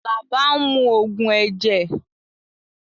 Alaba n mu ogun ẹjẹ